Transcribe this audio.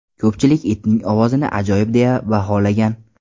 Ko‘pchilik itning ovozini ajoyib deya baholagan.